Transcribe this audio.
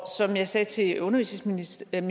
som jeg sagde til undervisningsministeren